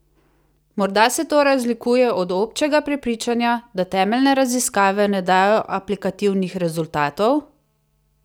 Morda se to razlikuje od občega prepričanja, da temeljne raziskave ne dajo aplikativnih rezultatov?